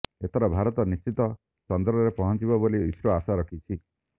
ଏଥର ଭାରତ ନିଶ୍ଚିତ ଚନ୍ଦ୍ରରେ ପହଞ୍ଚିବ ବୋଲି ଇସ୍ରୋ ଆଶା ରଖିଛି